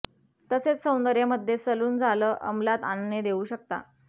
तसेच सौंदर्य मध्ये सलून झालं अमलात आणणे देऊ शकता